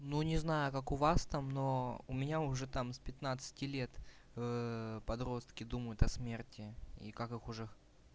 ну не знаю как у вас там но у меня уже там с пятнадцати лет подростки думают о смерти и как их уже